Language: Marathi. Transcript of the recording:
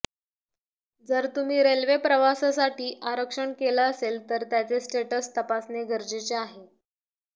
जर तुम्ही रेल्वे प्रवासासाठी आरक्षण केलं असेल तर त्याचे स्टेटस तपासणे गरजेचे आहे